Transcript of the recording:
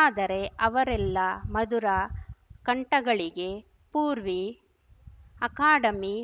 ಆದರೆ ಅವರೆಲ್ಲ ಮಧುರ ಕಂಠಗಳಿಗೆ ಪೂರ್ವಿ ಅಕಾಡೆಮಿ